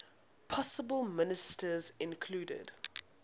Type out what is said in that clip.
possible ministers included